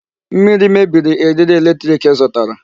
Mmiri mebiri eriri electric ị zụtara.